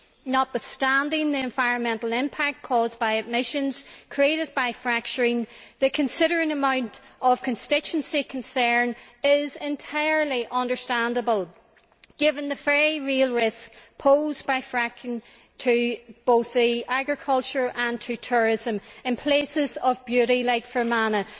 Notwithstanding the environmental impact caused by emissions created by fracturing, the considerable amount of constituency concern is entirely understandable given the very real risk posed by fracking to both agriculture and tourism in places of beauty like Fermanagh.